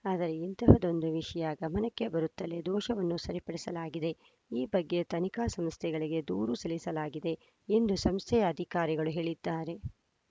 ಆದರೆ ಇಂಥದ್ದೊಂದು ವಿಷಯ ಗಮನಕ್ಕೆ ಬರುತ್ತಲೇ ದೋಷವನ್ನು ಸರಿಪಡಿಸಲಾಗಿದೆ ಈ ಬಗ್ಗೆ ತನಿಖಾ ಸಂಸ್ಥೆಗಳಿಗೆ ದೂರು ಸಲ್ಲಿಸಲಾಗಿದೆ ಎಂದು ಸಂಸ್ಥೆಯ ಅಧಿಕಾರಿಗಳು ಹೇಳಿದ್ದಾರೆ